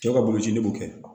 Cɛw ka boloci b'o kɛ